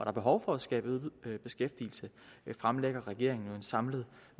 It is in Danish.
er behov for at skabe øget beskæftigelse fremlægger regeringen en samlet